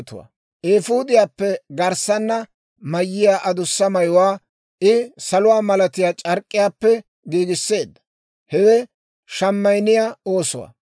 Eefuudiyaappe garssanna mayiyaa adussa mayuwaa I saluwaa malatiyaa c'ark'k'iyaappe giigisseedda; hewe shemayinniyaa oosuwaa.